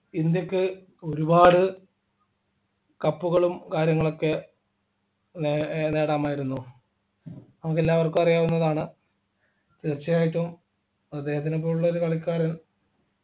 ഇന്ത്യയ്ക്ക് ഒരുപാടു cup കളും കാര്യങ്ങളൊക്കെ നേ ഏർ നേടാമായിരുന്നു നമുക്ക് എല്ലാവർക്കും അറിയാവുന്നതാണ് തീർച്ചയായിട്ടും അദ്ദേഹത്തിനെ പോലുള്ള ഒരു കളിക്കാരൻ